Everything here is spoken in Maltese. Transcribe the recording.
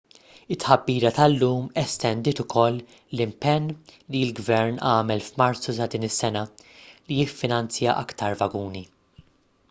it-tħabbira tal-lum estendiet ukoll l-impenn li l-gvern għamel f'marzu ta' din is-sena li jiffinanzja aktar vaguni